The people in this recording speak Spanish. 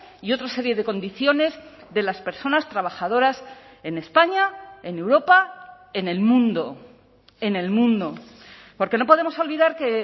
y otra serie de condiciones de las personas trabajadoras en españa en europa en el mundo en el mundo porque no podemos olvidar que